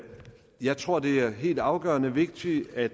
jeg tror det er helt afgørende vigtigt at